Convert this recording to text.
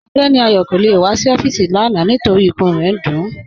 Ọgbẹni Ayo kò le wà sí ọfiisi lána nítorí ìkùn rẹ̀ ń dún ú gáàn